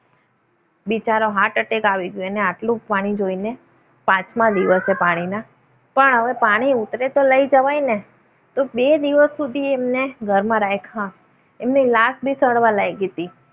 બિચારો heart attack આવી ગયો. અને આટલું પાણી જોઈને પાંચમા દિવસે પાણીના પણ હવે પાણી ઉતરે તો લઈ જવાય ને! તો બે દિવસ સુધી એમને ઘરમાં રાખ્યા. એમની લાશ બી સડવા લાગી હતી.